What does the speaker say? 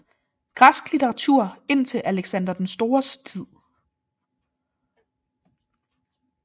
Græsk litteratur indtil Alexander den Stores tid